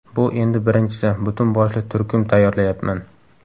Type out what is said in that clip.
Bu endi birinchisi, butun boshli turkum tayyorlayapman.